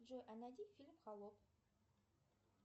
джой а найди фильм холоп